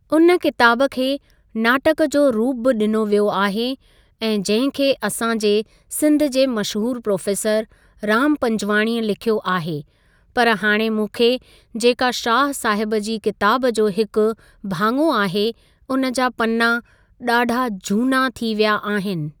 उन किताब खे नाटक जो रूप बि ॾिनो वियो आहे ऐं जंहिं खे असां जे सिंध जे मशहूरु प्रोफ़ेसर राम पंॼवाणीअ लिखियो आहे पर हाणे मूंखे जेका शाह साहिब जी किताब जो हिकु भाङो आहे उन जा पन्ना ॾाढा जूना थी विया आहिनि।